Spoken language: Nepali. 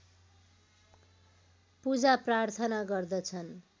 पूजा प्रार्थना गर्दछन्